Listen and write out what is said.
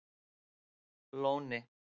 Lóni